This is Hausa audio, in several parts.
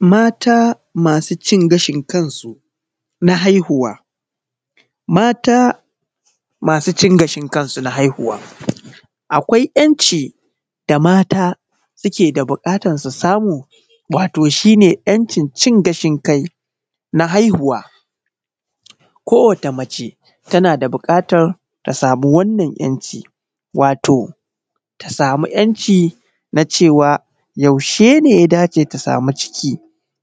Mata masu cin gashin kansu na haihuwa. Mata masu cin gashin kansu na haihuwa akwai ‘yan’ci da mata suke buƙatan su masu, wato shine ‘yan’cin, cin gashin kai na haihuwa. Ko wata mace tana da buƙatan ta samu wato wannan ‘yan’ci, wato ta samu ‘yan’ ci na cewa yaushe ne ya dace ta samu ciki?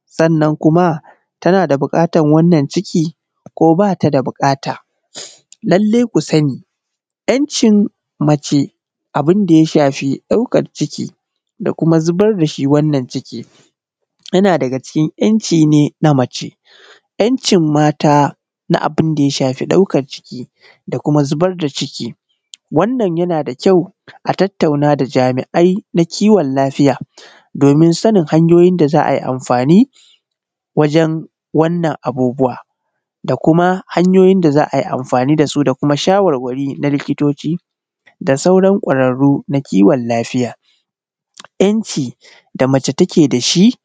Sannan kuma tana da buƙatan wannan ciki ko bata da buƙata, lallai ku sani ‘yan’cin mace abunda ya shafi ɗaukan ciki da kuma zubardashi wannan ciki yana daga cikin ‘yan’ci ne na mace. ‘yan’ cin na abunda ya shafi ɗaukan ciki da kuma zubar da ciki wannan yana da kyau a tattauna da jami’ai na kiwon lafiya domin sanin hanyoyin da za’ai amfani wajen ai wannan abubuwa da kuma hanyoyi da za’ai amfani dasu da kuma shawarwari na likitoci da sauran kwararru na kiwon lafiya. ‘yan’ ci da mace take dashi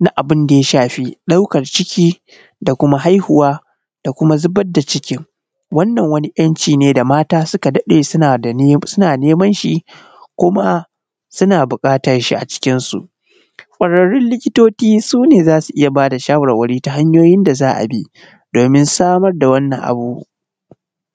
na abun da ya shafi ɗaukan ciki, da kuma haihuwa, da kuma zubar da cikin, wannan wani ‘yan’ ci ne da mata suka daɗe suna neman shi kuma suna buƙatan shi a cikin su. kwararrun likitoci sune zasu iyya bada shawarwari ta hanyoyin da za’abi domin samar da wannan abu.